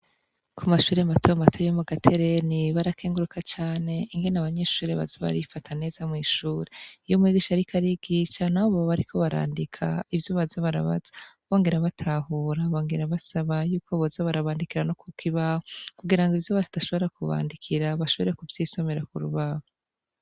ku mashure mato mato yo mu gatereni barakenguruka cane ingene abanyeshuri baza barifataneza mu ishuri iyo umwigisha ariko arigisha nabo bariko barandika ivyo baza barabaza bongera babitahura, bongera basaba yuko boza barabandikira no kukibaho kugirango ivyo badashobora kubandikira bashobore kuvyisomera kuri aho.